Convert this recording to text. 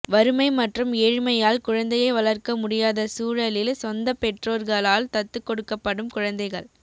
வறுமை மற்றும் ஏழ்மையால் குழந்தையை வளர்க்க முடியாத சூழலில் சொந்தப் பெற்றோர்களால் தத்துக் கொடுக்கப்படும் குழந்தைகள்